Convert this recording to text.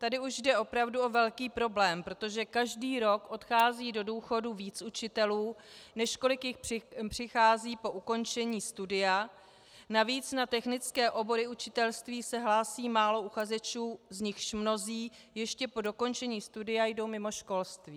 Tady už jde opravdu o velký problém, protože každý rok odchází do důchodu víc učitelů, než kolik jich přichází po ukončení studia, navíc na technické obory učitelství se hlásí málo uchazečů, z nichž mnozí ještě po dokončení studia jdou mimo školství.